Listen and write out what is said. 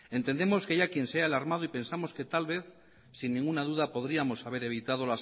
entendemos que haya quien se haya alarmado y pensamos que tal vez sin ninguna duda podríamos haber evitado